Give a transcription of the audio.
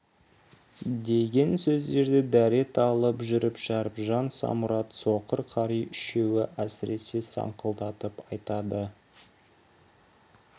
деген сөздерді дәрет алып жүріп шәріпжан самұрат соқыр қари үшеуі әсіресе саңқылдатып айтады